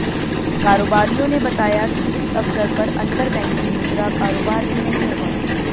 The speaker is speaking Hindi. कारोबारियों ने बताया कि इस अवसर पर अंतर बैंकिंग मुद्रा कारोबार भी नहीं होगा